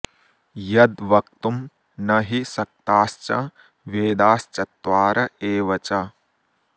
यद् वक्तुं न हि शक्ताश्च वेदाश्चत्वार एव च